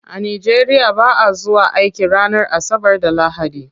A nigeria ba'a zuwa aiki ranar asabar da lahadi.